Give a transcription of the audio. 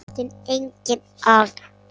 Þá þurfti engin orð.